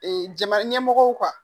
Ee jamana ɲɛmɔgɔw